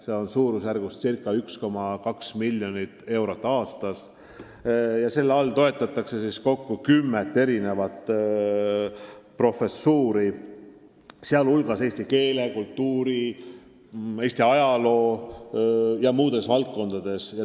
Summa on suurusjärgus 1,2 miljonit eurot aastas ja sellega toetatakse kokku kümmet professuuri, sh eesti keele ja kultuuri, Eesti ajaloo ja muudes sellistes valdkondades.